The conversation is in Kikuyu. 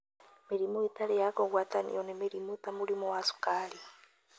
Mĩrimũ ĩtarĩ ya kũgwatanio: Nĩ mĩrimũ ta mũrimũ wa cukari,